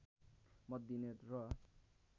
मत दिने र